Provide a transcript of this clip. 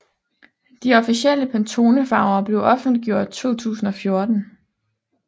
De officielle Pantone farver blev offentliggjort 2004